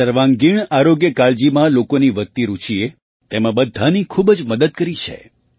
સર્વાંગીણ આરોગ્યકાળજીમાં લોકોની વધતી રૂચિએ તેમાં બધાની ખૂબ જ મદદ કરી છે